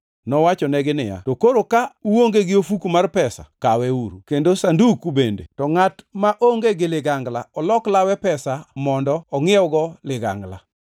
Nowachonegi niya, “To koroni ka uonge gi ofuku mar pesa kaweuru, kendo sanduku bende, to ka uonge ligangla olok lawe pesa mondo ingʼiewgo ligangla.